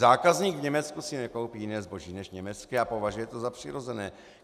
Zákazník v Německu si nekoupí jiné zboží než německé a považuje to za přirozené.